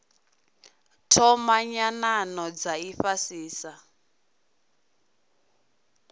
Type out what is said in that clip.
thoma nyanano dza ifhasi sa